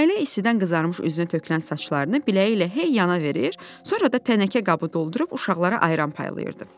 Nailə istidən qızarmış üzünə tökülən saçlarını biləyi ilə hey yana verir, sonra da tənəkə qabı doldurub uşaqlara ayran paylayırdı.